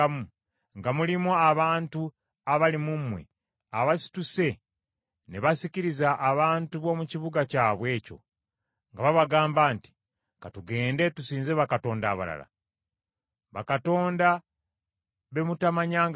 nga mulimu abantu abali mu mmwe abasituse ne basikiriza abantu b’omu kibuga kyabwe ekyo nga babagamba nti, “Ka tugende tusinze bakatonda abalala,” bakatonda be mutamanyangako,